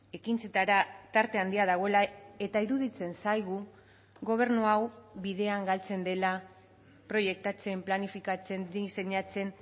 ekintzetara tarte handia dagoela eta iruditzen zaigu gobernu hau bidean galtzen dela proiektatzen planifikatzen diseinatzen